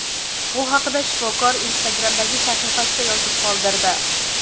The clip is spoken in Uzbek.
Bu haqda shifokor Instagram’dagi sahifasida yozib qoldirdi .